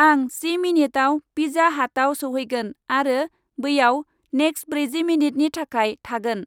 आं जि मिनिटआव पिजा हाटआव सौहैगोन आरो बैयाव नेक्स्ट ब्रैजि मिनिटनि थाखाय थागोन,